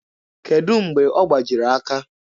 Kedụ mgbe ọ gbajiri aka?